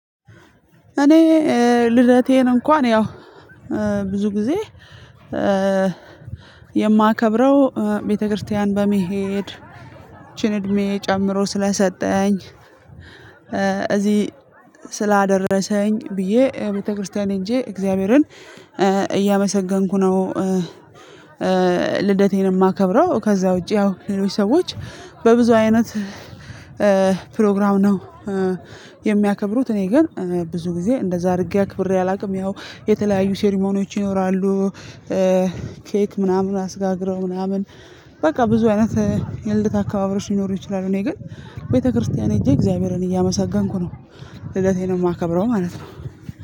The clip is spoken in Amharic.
እኔ ልደቴን እንኳን ያው ብዙ ጊዜ የማከብረው ቤተክርስቲያን በመሄድ ይቺን እድሜ ጨምሮ ስለሰጠኝ እዚህ ስላደረሰኝ ብዬ ቤተክርስቲያን ሄጄ እግዚአብሔርን እያመሰገንኩ ነው ልደቴንም እማከብረው ከዛ ውጪ ያው ሌሎች ሰዎች በብዙ አይነት ፕሮግራም ነው የሚያከብሩት እኔ ግን ብዙ ጊዜ እንደዛ አድርጌ አክብሬ አላቅም ያው የተለያዩ ሴሪሞኒዎች ይኖራሉ። ኬክ ምናምን አስጋግረው ምናምን በቃ ብዙ አይነት የልድት አካባቢዎች ሊኖሩ ይችላሉ እኔ ግን ቤተክርስቲያን ሄጄ እግዚአብሔርን እያመሰገንኩ ነው ልደቴን ማከብረው ማለት ነው